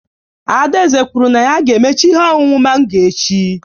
Adaeze kwuru na ya ga-emecha ihe ọṅụṅụ mango echi